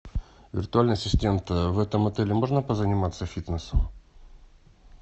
виртуальный ассистент в этом отеле можно позаниматься фитнесом